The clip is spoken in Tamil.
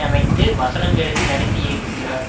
அமைத்து வசனம் எழுதி நடித்து இயக்குகிறார்